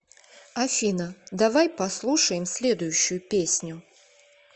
афина давай послушаем следующую песню